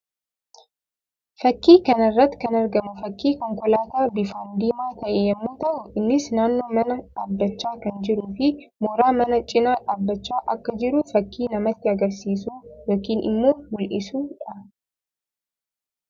Fakkii kana irratti kan argamu fakkii konkolaataa bifaan diimaa ta'e yammuu ta'u; innis naannoo manaa dhaabbachaa kan jiruu fi mooraa manaa cina dhaabbachaa akka jiru fakkii namatti agarsiisuu yookiin immoo mul'isuu dha.